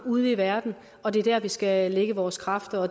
ude i verden og det er der vi skal lægge vores kræfter og